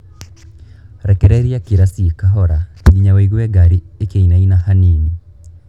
Rekereria kĩraci kahora nginya wũigue ngari ĩkĩinaina hanini.